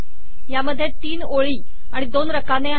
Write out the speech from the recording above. यात ३ ओळी आणि २ रकाने आहेत